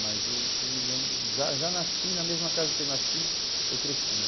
Mas eu, o que eu me lembro, já já nasci na mesma casa que eu nasci, eu cresci, né?